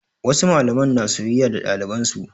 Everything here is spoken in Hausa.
Wasu malaman na soyayya da ɗaliban su.